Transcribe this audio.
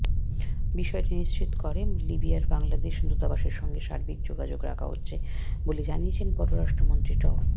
বিষয়টি নিশ্চিত করে লিবিয়ার বাংলাদেশ দূতাবাসের সঙ্গে সার্বিক যোগাযোগ রাখা হচ্ছে বলে জানিয়েছেন পররাষ্ট্রমন্ত্রী ড